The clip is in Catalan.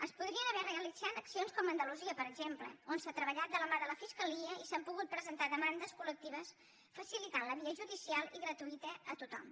es podrien haver realitzat accions com a andalusia per exemple on s’ha treballat de la mà de la fiscalia i s’han pogut presentar demandes col·lectives facilitant la via judicial i gratuïta a tothom